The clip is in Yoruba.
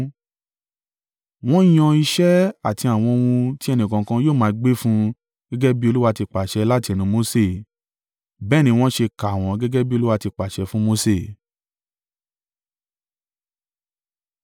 Wọ́n yan iṣẹ́ àti àwọn ohun tí ẹni kọ̀ọ̀kan yóò máa gbé fún un gẹ́gẹ́ bí Olúwa ti pàṣẹ láti ẹnu Mose. Bẹ́ẹ̀ ni wọ́n ṣe kà wọ́n gẹ́gẹ́ bí Olúwa ti pàṣẹ fún Mose.